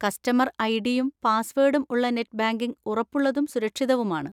Customer ഐ.ഡി.യും പാസ്‌വേഡും ഉള്ള നെറ്റ് ബാങ്കിംഗ് ഉറപ്പുള്ളതും സുരക്ഷിതവുമാണ്.